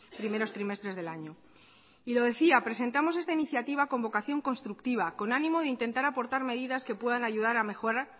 primeros trimestres del año y lo decía presentamos esta iniciativa con vocación constructiva con ánimo de intentar aportar medidas que puedan ayudar a mejorar